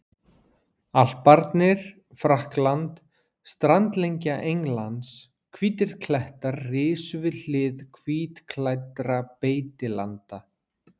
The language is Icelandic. Alparnir, Frakkland, strandlengja Englands, hvítir klettar risu við hlið hvítklæddra beitilanda.